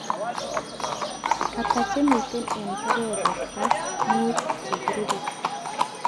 Ata chemiten eng keberberta mutu chekirube